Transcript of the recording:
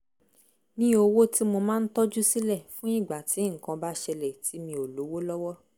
ní owó tí mo máa ń tọ́jú sílẹ̀ fún ìgbà tí nǹkan bá ṣẹlẹ̀ tí mi ò lówó lọ́wọ́